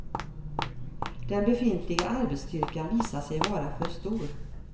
Den befintliga arbetsstyrkan visar sig vara för stor.